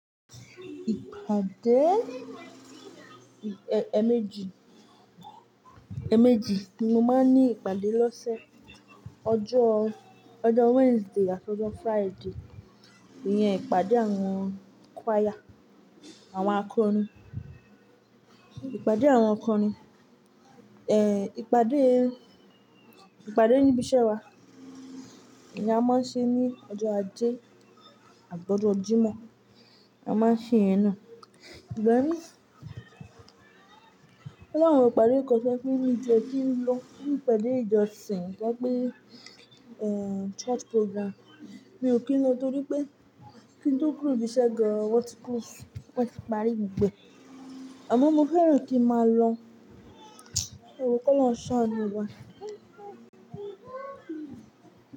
Ìpàdé, e-emeji, emeji, ni mo máa ń ní ìpàdé lọ́sẹ̀. Ọjọ́, ọjọ́ Wednesday àti ọjọ́ Friday, ìyẹn ìpàdé àwọn choir, àwọn akọrin. Ìpàdé àwọn akọrin. Eh! Ìpàdé, ìpàdé nibi iṣẹ́ wa, ni a máa ń ṣe ní ọjọ́ ajé àbí ọjọ́ Jímọ̀. A máa n ṣe iyẹn náà. Ìgbà mi o la wọn ìpàdé kan to jepe mi o tie kí n lọ fún ìpàdé ìjọsìn to jé pé, eh! Church program. Mi ò kí lọ torí pé kí n tó kúrò ni ibi iṣẹ́ gan an woti close won ti parí gbogbo e. Àmọ́ mo fẹ́ràn kín máa lọ ẹwo kọ'lọhun sáanu mi.